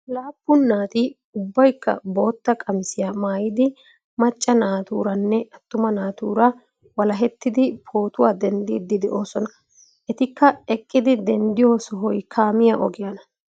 Laappun naati ubbaykka bootta qamisiyaa maayidi macca naaturanne attuma naatura walahettidi pootuwaa denddiidi de'oosona. etikka eqqidi denddiyoo sohoy kaamiyaa ogiyaana.